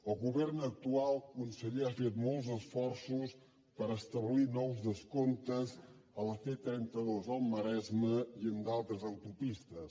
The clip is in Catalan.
el govern actual conseller ha fet molts esforços per establir nous descomptes a la c trenta dos al maresme i en d’altres autopistes